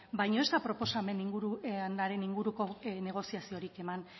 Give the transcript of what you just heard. baina ez da proposamenaren inguruko negoziaziorik eman